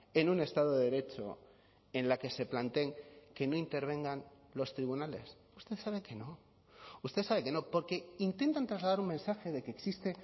en un estado de derecho en la que se planteen que no intervengan los tribunales usted sabe que no usted sabe que no porque intentan trasladar un mensaje de que existe